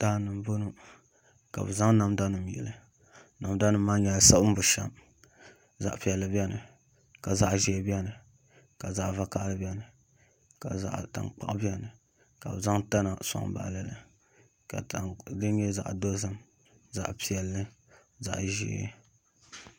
Daani n bɔŋɔ ka bi zaŋ namda nim yili namda nim maa nyɛla siɣim bushɛm zaɣ piɛlli biɛni ka zaɣ ʒiɛ biɛni ka zaɣ vakaɣali biɛni ka zaɣ tankpaɣu biɛni ka bi zaŋ tana soŋ baɣali li ka tani din nyɛ zaɣ dozim zaɣ piɛlli zaɣ ʒiɛ